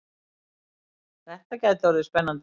Þetta gæti orðið spennandi!